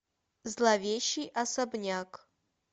зловещий особняк